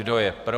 Kdo je pro?